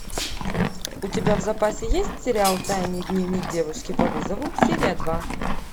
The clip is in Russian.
у тебя в запасе есть сериал тайный дневник девушки по вызову серия два